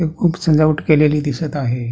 इथे खूप सजावट केलेली दिसत आहे.